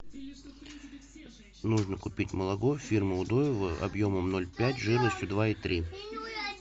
нужно купить молоко фирмы удоево объемом ноль пять жирностью два и три